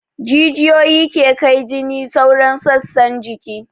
Jijiyoyi ke kai jini sauran sassan jiki